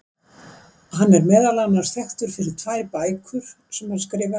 Hann er meðal annars þekktur fyrir tvær bækur sem hann skrifaði.